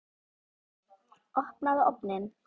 Opnaðu ofninn!